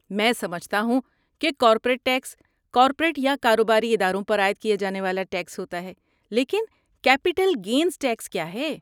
میں سمجھتا ہوں کہ کارپوریٹ ٹیکس کارپوریٹ یا کاروباری اداروں پر عائد کیا جانے والا ٹیکس ہوتا ہے لیکن کیپٹل گینز ٹیکس کیا ہے؟